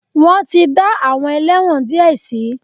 Wọ́n ti dá àwọn ẹlẹ́wọ̀n díẹ̀ sí.